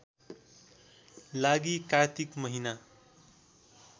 लागि कात्तिक महिना